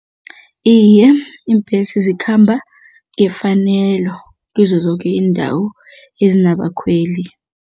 Iye, iimbesi zikhamba ngefanelo kizo zoke iindawo ezinabakhweli.